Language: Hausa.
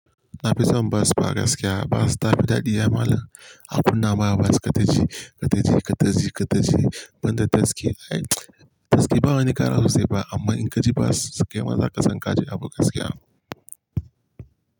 Na fi son bas ba gaskiya. Bas ta fi daɗi ya malam. A birnin Aba bas kaitaji, kaitaji, kaitaji, kaitaji, ban ta taxi. Ai taxi ba wani kara ku sai ba amma in ka ji bas, kaima za ka san ka ji abu gaskiya.